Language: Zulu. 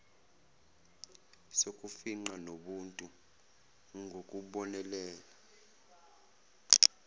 sokufingqa nobuntu ngokubonelela